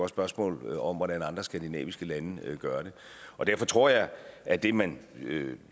spørgsmål om hvordan andre skandinaviske lande gør det derfor tror jeg at det man